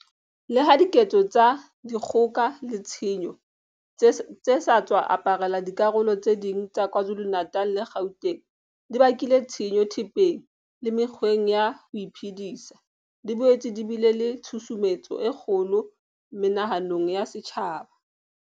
Leha diketso tsa di kgoka le tshenyo tse sa tswa aparela dikarolo tse ding tsa Kwa Zulu-Natal le Gauteng di bakile tshenyo thepeng le mekgweng ya ho iphedisa, di boetse di bile le tshu sumetso e kgolo moma hanong ya setjhaba.